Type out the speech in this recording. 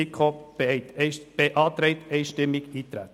Die FiKo beantragt einstimmig Eintreten.